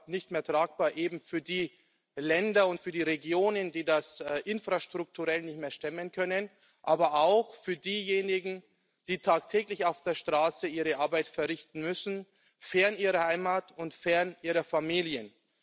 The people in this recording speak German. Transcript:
Nicht mehr tragbar eben für die Länder und für die Regionen, die das infrastrukturell nicht mehr stemmen können, aber auch für diejenigen, die tagtäglich auf der Straße ihre Arbeit verrichten müssen fern ihrer Heimat und fern ihrer Familien.